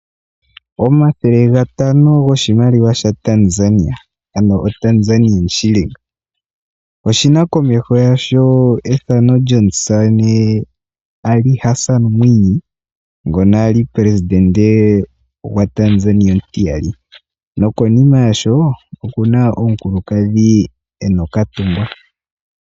Omathele gatano goshimaliwa shaTanzania, ano ooshiling dha Tanzania komeho oshi na ethano lyomusamane Ari Asan Mwii ngoka a li omupelesidente gwaTanzania omutiyali nokonima yasho okuna omukulukadhi e na okatungwa.